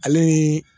Ale ni